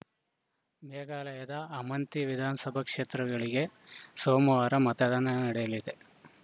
ಮೇಘಾಲಯದ ಅಮಂತಿ ವಿಧಾನಸಭಾ ಕ್ಷೇತ್ರಗಳಿಗೆ ಸೋಮವಾರ ಮತದಾನ ನಡೆಯಲಿದೆ